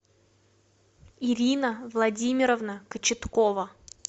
ирина владимировна кочеткова